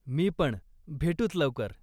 मी पण, भेटुच लवकर!